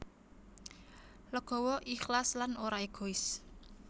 Legawa ikhlas lan ora égois